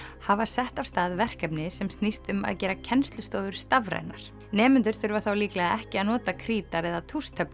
hafa sett af stað verkefni sem snýst um að gera kennslustofur stafrænar nemendur þurfa þá líklega ekki að nota krítar eða